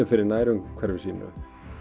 fyrir nærumhverfi sínu